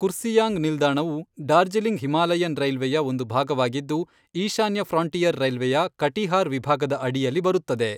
ಕುರ್ಸಿಯಾಂಗ್ ನಿಲ್ದಾಣವು ಡಾರ್ಜಿಲಿಂಗ್ ಹಿಮಾಲಯನ್ ರೈಲ್ವೆಯ ಒಂದು ಭಾಗವಾಗಿದ್ದು, ಈಶಾನ್ಯ ಫ್ರಾಂಟಿಯರ್ ರೈಲ್ವೆಯ ಕಟಿಹಾರ್ ವಿಭಾಗದ ಅಡಿಯಲ್ಲಿ ಬರುತ್ತದೆ.